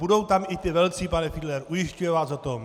Budou tam i ti velcí, pane Fiedlere, ujišťuji vás o tom!